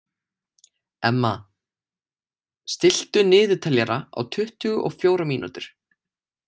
Emma, stilltu niðurteljara á tuttugu og fjórar mínútur.